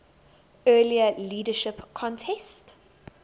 earlier leadership contest